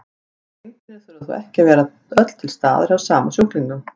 Þessi einkenni þurfa þó ekki að vera öll til staðar hjá sama sjúklingnum.